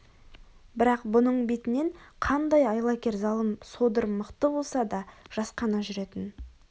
бірақ бұның бетінен қандай айлакер залым содыр мықты болса да жасқана жүретін